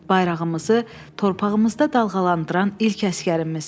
Bayrağımızı torpağımızda dalğalandıran ilk əsgərimiz.